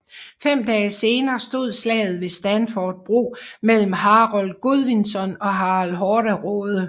Fem dage senere stod slaget ved Stamford bro mellem Harold Godvinson og Harald Hårderåde